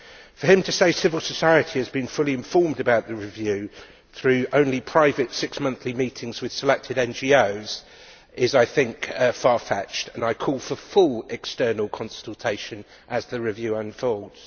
For him to say civil society has been fully informed about the review through only private six monthly meetings with selected NGOs is, I think, far fetched and I call for full external consultation as the review unfolds.